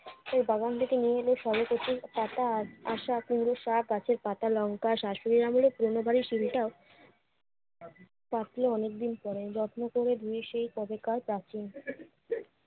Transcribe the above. সে বাগান থেকে নিয়ে এলো কচুর পাতা আর আসা কুমড়ো শাক, গাছের পাকা লঙ্কা, শাশুড়ির আমলের পুরোনো বাড়ির শীলটাও পাকলে অনেকদিন পরে। যত্ন করে ধুয়ে সেই কবেকার